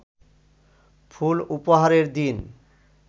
ফুল উপহারের দিন